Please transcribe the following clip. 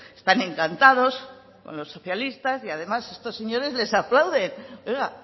están encantados con los socialistas y además estos señores les aplauden pues oiga